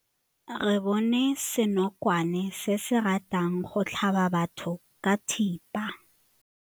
Re bone senokwane se se ratang go tlhaba batho ka thipa.